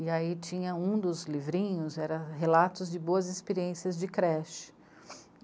E aí tinha um dos livrinhos, era relatos de boas experiências de creche.